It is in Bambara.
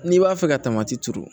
N'i b'a fɛ ka tamati turu